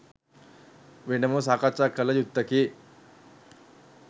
වෙනමම සාකච්ඡා කළ යුත්තකි.